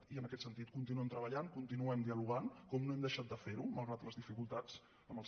i en aquest sentit continuem treballant continuem dialogant com no hem deixat de ferho malgrat les dificultats amb el sector